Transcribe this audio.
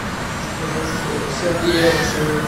заказать сергея алексеева